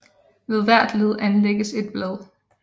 Ved hvert led anlægges et blad